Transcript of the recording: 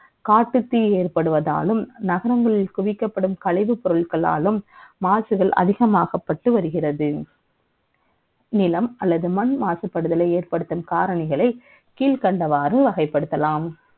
காட்டுக்கு ஏற்படுவதாலும் நகரங்களில் குவிக்கப்படும் கழிவு பொருட்களாகும் மாசுக்கள் அதிகம் ஆக்கப்பட்டு வருகிறது நிலம் அல்லது மண் மாசுபடுத்தும் காரணிகளை கீழ்க்கண்டவாறு வகைப்படுத்தலாம்